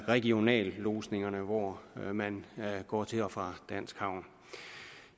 regionallodsningerne hvor man går til og fra dansk havn